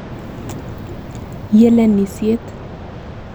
Yelenisiet.